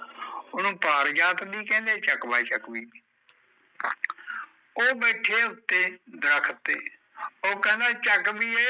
ਉਹਨੂੰ ਪਾਰ ਜਾਤ ਵੀ ਕਹਿੰਦੇ ਚੱਕ ਬਾਈ ਚੱਕਵੀ ਵੀ ਉਹ ਬੈਠੇ ਉੱਤੇ, ਦਰੱਖਤ ਤੇ, ਉਹ ਕਹਿੰਦਾ ਚੱਕਵੀਏ